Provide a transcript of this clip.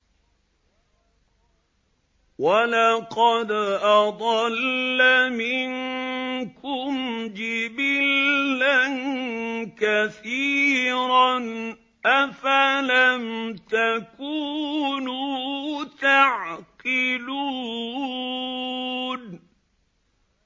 وَلَقَدْ أَضَلَّ مِنكُمْ جِبِلًّا كَثِيرًا ۖ أَفَلَمْ تَكُونُوا تَعْقِلُونَ